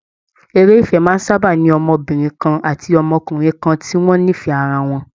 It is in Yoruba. Eré ìfẹ́ máa ń sábà ní ọmọbìnrin kan ati ọmọbìnrin kan tí wọ́n nífẹ̀ẹ́ ara wọn